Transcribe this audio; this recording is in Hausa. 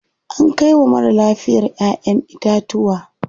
Ana kai wa marar lafiya ƴaʼƴen itatuwa.